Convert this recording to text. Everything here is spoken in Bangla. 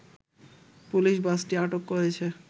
পুলিশ বাসটি আটক করেছে